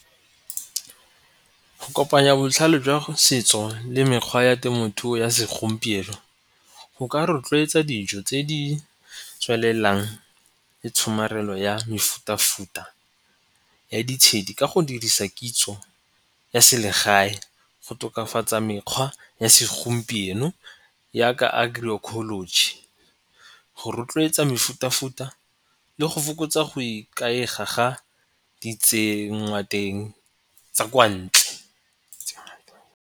Go kopanya botlhale jwa setso le mekgwa ya temothuo ya segompieno go ka rotloetsa dijo tse di tswelelang le tshomarelo ya mefuta-futa ya ditshedi ka go dirisa kitso ya selegae go tokafatsa mekgwa ya segompieno yaka agroecology di go rotloetsa mefuta-futa le go fokotsa go ikaega di tsengwa teng tsa kwa ntle.